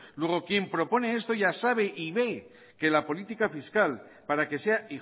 luego quien propone esto ya sabe y ve que la política fiscal para que sea